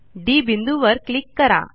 D बिंदूवर click करा